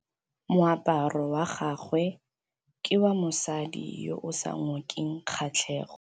Moaparô wa gagwe ke wa mosadi yo o sa ngôkeng kgatlhegô.